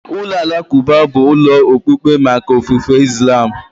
Ụlọ alakụba bụ ụlọ okpukpe maka ofufe Islam.